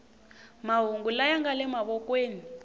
mahungu laya nga le mavokweni